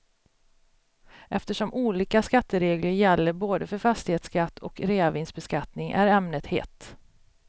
Eftersom olika skatteregler gäller både för fastighetsskatt och reavinstbeskattning är ämnet hett.